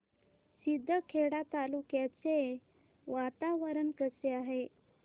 शिंदखेडा तालुक्याचे वातावरण कसे आहे